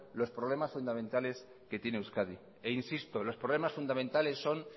los problemas fundamentales que tiene euskadi insisto que los problemas fundamentales son